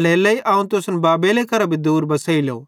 एल्हेरेलेइ अवं तुसन बाबेले करां भी दूर बसेइलो